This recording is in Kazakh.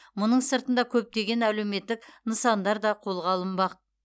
мұның сыртында көптеген әлеуметтік нысандар да қолға алынбақ